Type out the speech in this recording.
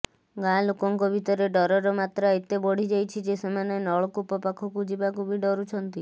ଗାଁ ଲୋକଙ୍କ ଭିତରେ ଡରର ମାତ୍ରା ଏତେ ବଢିଯାଇଛି ଯେ ସେମାନେ ନଳକୂପ ପାଖକୁ ଯିବାକୁ ବି ଡରୁଛନ୍ତି